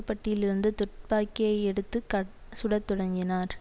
பட்டியிலிருந்து துப்பாக்கியை எடுத்து கட சுடத் தொடங்கினார்